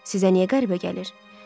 Sizə niyə qəribə gəlir?